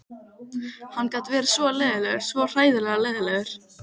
Hann gat verið svo leiðinlegur, svo hræðilega leiðinlegur.